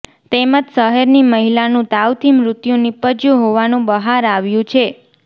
તેમજ શહેરની મહિલાનું તાવથી મૃત્યું નિપજ્યું હોવાનું બહાર આવ્યું છે